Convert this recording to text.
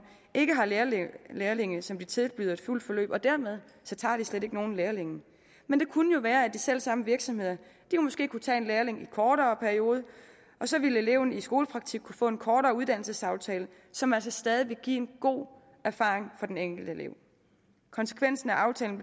ikke har lærlinge lærlinge som de tilbyder et fuldt forløb og dermed tager de slet ikke nogen lærlinge men det kunne jo være at de selv samme virksomheder måske kunne tage en lærling i en kortere periode og så ville eleven i skolepraktik kunne få en kortere uddannelsesaftale som altså stadig ville give god erfaring til den enkelte elev konsekvensen af aftalen